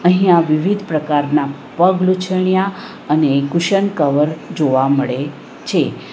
અહીંયા વિવિધ પ્રકારના પગલુછન્યા અને કુશન કવર જોવા મળે છે.